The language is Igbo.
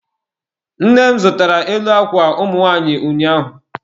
Nne m zụtara elu akwa ụmụ nwanyị ụnyaahụ.